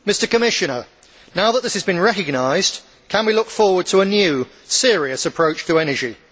Commissioner, now that this has been recognised, can we look forward to a new, serious approach to energy?